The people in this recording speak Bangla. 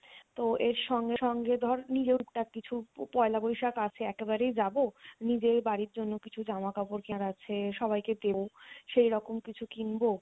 তো এর সঙ্গে সঙ্গে ধর নিজেও একটা কিছু পয়লা বৈশাখ আছে একে বারেই যাবো নিজের বাড়ির জন্য কিছু জামা কাপড় কেনার আছে সবাইকে দেবো সেই রকম কিছু কিনবো